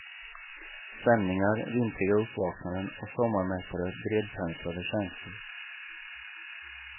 Stämningar, vintriga uppvaknanden och sommarmättade bredpenslade känslor.